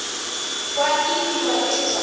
kwa ke itiwa ke letswalo